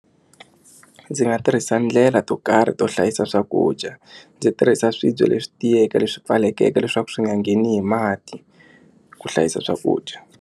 Ndzi nga tirhisa ndlela to karhi to hlayisa swakudya ndzi tirhisa swibye leswi tiyeke leswi pfulekeke leswaku swi nga ngheni hi mati ku hlayisa swakudya.